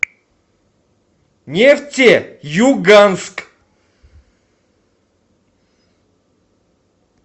нефтеюганск